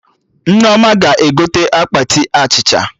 Nneoma ga-egote akpati achịcha